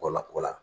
Wala kɔ la